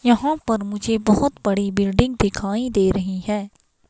यहां पर मुझे बहुत बड़ी बिल्डिंग दिखाई दे रही है.